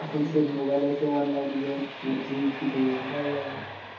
এখন সে mobile এ সে online game পাবজি